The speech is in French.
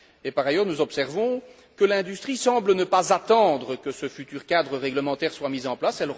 Par ailleurs, nous observons que l'industrie semble ne pas attendre que ce futur cadre réglementaire soit mis en place.